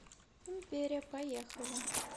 империя поехали